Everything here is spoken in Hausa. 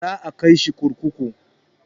Za a kai shi kurkuku.